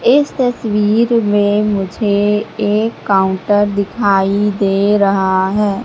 इस तस्वीर में मुझे एक काउंटर दिखाई दे रहा है।